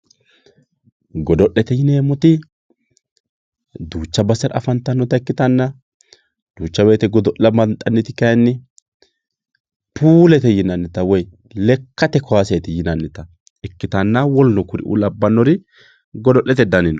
godo'lete yineemmoti duucha basera afantannota ikkitanna duucha wote godo'la banxanniti kayiinni puulete yinannita woyi lekkate kaaseeti yinannita ikkitanna woluno kuriuu lanbbannori godo'lete dani no.